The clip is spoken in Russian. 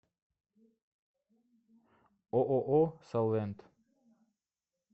ооо салвент